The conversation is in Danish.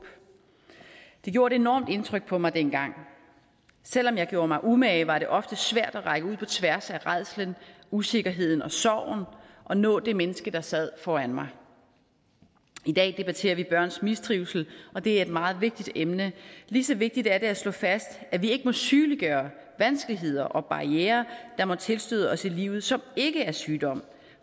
det gjorde et enormt indtryk på mig dengang selv om jeg gjorde mig umage var det ofte svært at række ud på tværs af rædslen usikkerheden og sorgen og nå det menneske der sad foran mig i dag debatterer vi børns mistrivsel og det er et meget vigtigt emne lige så vigtigt er det at slå fast at vi ikke må sygeliggøre vanskeligheder og barrierer der måtte tilstøde os i livet som ikke er sygdom